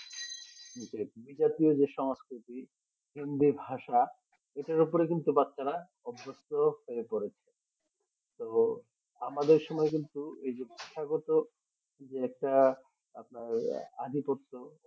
বিদেশিও যে সংস্কৃতি। হিন্দি ভাষা এটার ওপরে কিন্তু বাচ্ছারা অবস্থ হয়ে পড়েছে তো আমাদের সময় কিন্তু এই যে ভাষা গত যে একটা আপনার অধি পড়তো